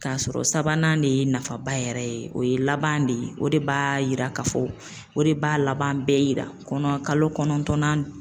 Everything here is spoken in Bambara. K'a sɔrɔ sabanan de ye nafaba yɛrɛ ye, o ye laban de ye o de b'a yira k'a fɔ, o de b'a laban bɛɛ yira kɔnɔ kalo kɔnɔntɔn na,